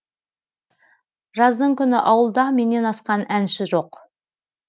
жаздың күні ауылда менен асқан әнші жоқ